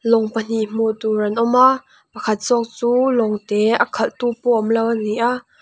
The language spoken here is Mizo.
lawng pahnih hmuh tur an awm a pakhat zawk chu lawng te a khalh tu pawh awm lo a ni a.